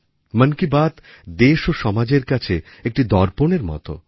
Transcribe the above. মন কি বাত দেশ ও সমাজের কাছে একটি দর্পণের মতো